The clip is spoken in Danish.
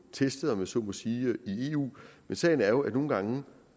testet om jeg så må sige i eu men sagen er jo at virkeligheden nogle gange